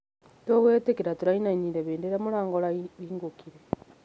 Tũgwatĩra tũraĩnaĩnĩre hĩndĩ ĩrĩa mũrango ũrahĩngũkĩre